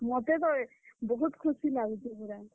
ମତେ ତ ବହୁତ୍ ଖୁସି ଲାଗୁଛେ ପୁରା।